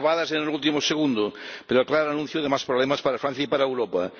Salvadas en el último segundo, pero claro anuncio de más problemas para Francia y para Europa.